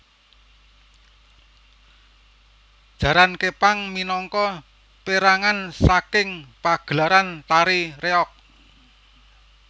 Jaran Képang minangka pérangan saking pagelaran tari reog